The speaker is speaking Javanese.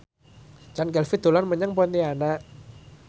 Chand Kelvin dolan menyang Pontianak